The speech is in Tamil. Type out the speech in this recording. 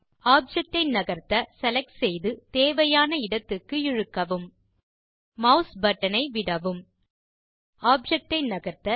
ஆப்ஜெக்ட் ஐ நகர்த்த செலக்ட் செய்து தேவையான இடத்துக்கு இழுக்கவும் மாஸ் பட்டன் ஐ விடவும் ஆப்ஜெக்ட் ஐ நகர்த்த